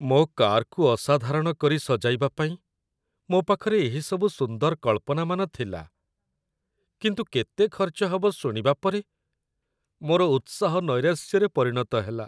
ମୋ କାରକୁ ଅସାଧାରଣ କରି ସଜାଇବା ପାଇଁ ମୋ ପାଖରେ ଏହିସବୁ ସୁନ୍ଦର କଳ୍ପନାମାନ ଥିଲା, କିନ୍ତୁ କେତେ ଖର୍ଚ୍ଚ ହେବ ଶୁଣିବା ପରେ, ମୋର ଉତ୍ସାହ ନୈରାଶ୍ୟରେ ପରିଣତ ହେଲା।